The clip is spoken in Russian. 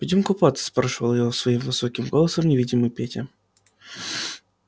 пойдём купаться спрашивал её своим высоким голосом невидимый петя